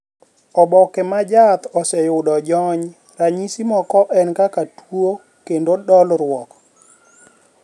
oboke m jaath oseyudo jony, ranyisi moko en kaka tuo kendo dolruok